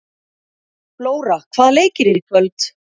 Flóra, hvaða leikir eru í kvöld?